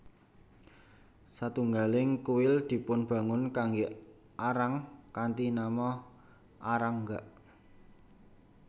Setunggaling kuil dipunbangun kanggé Arang kanthi nama Arang gak